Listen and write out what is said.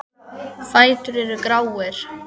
Fætur eru gráir.